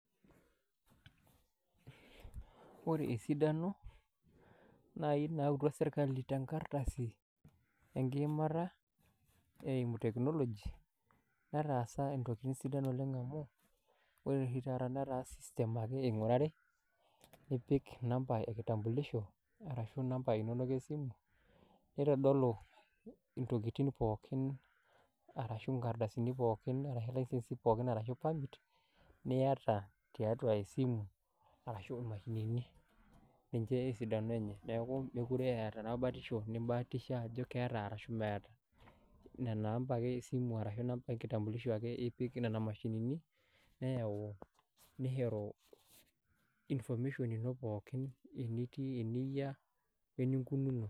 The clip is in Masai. Wore esidano, naai nautua serkali tenkardasi, enkiimata eimu technology netaasa intokitin sidan oleng' amu wore oshi taata netaa system ake ingurari, nipik inamba enkitambulisho arashu inamba inonok esimu, nitodolu intokitin pookin arashu inkardasini pookin arashu ilicensi pookin arashu permit, niata tiatua esimu arashu imashinini. Ninche esidano enye. Neeku mekure eeta enapa batisho nimbaatisha ajo keeta arashu meeta. Nena amba ake esimu arashu enkitambulisho ipik niana mashinini, neyau, nishoru information ino pookin, enitii, eniyia, weninkununo.